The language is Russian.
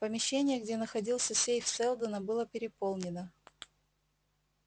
помещение где находился сейф сэлдона было переполнено